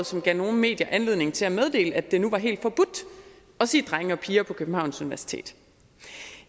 som gav nogle medier anledning til at meddele at det nu var helt forbudt at sige drenge og piger på københavns universitet